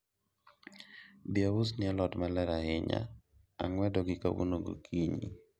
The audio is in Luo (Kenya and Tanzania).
bi ausni alot maler ahinya, ang'wedogi kawuono gokinyi